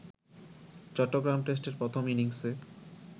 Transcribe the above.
চট্টগ্রাম টেস্টের প্রথম ইনিংসে